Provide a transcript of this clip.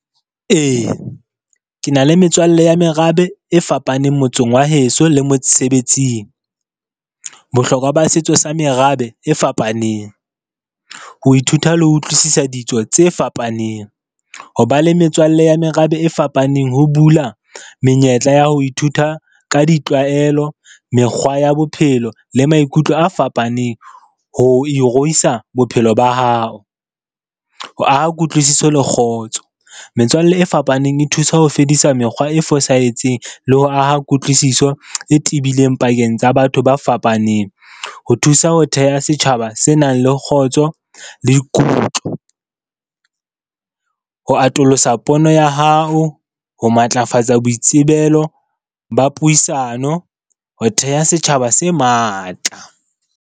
Ee, ke na le metswalle ya merabe e fapaneng motseng wa heso le mosebetsing. Bohlokwa ba setso sa merabe e fapaneng, ho ithuta le ho utlwisisa ditso tse fapaneng, ho ba le metswalle ya merabe e fapaneng ho bula menyetla ya ho ithuta ka ditlwaelo, mekgwa ya bophelo le maikutlo a fapaneng ho iruwisa bophelo ba hao, ho aha kutlwisiso le kgotso. Metswalle e fapaneng e thusa ho fedisa mekgwa e fosahetseng le ho aha kutlwisiso e tebileng pakeng tsa batho ba fapaneng. Ho thusa ho theha setjhaba se nang le kgotso le kutlo, ho atolosa pono ya hao, ho matlafatsa boitsebelo ba puisano, ho theha setjhaba se matla.